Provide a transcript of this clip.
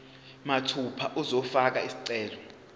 mathupha uzofaka isicelo